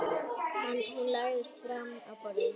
Hún lagðist fram á borðið.